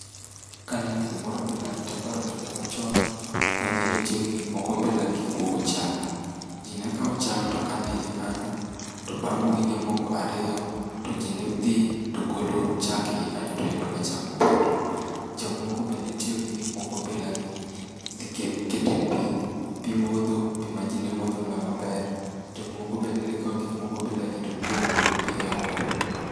Kaneno gimoro bilani to aparo kinde machon ma ji ne tiyo gi gik moko bilagi mar kuogo chak. Ji ne kawo chak, to kano e iye kanyo to bang' wige moko ariyo, to ji ne dhi togolo chak eiye kanyo to yudo ka chak opoto. Jok moko be ne tiyo gi gik moko bilagi. Gikete pimodho, pi ma ji nemodho mana maber. Jok moko be ne kawo gik moko bilagi to dhi omo godo pi eaora.